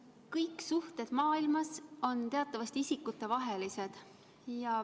Kõik suhted maailmas on teatavasti isikutevahelised.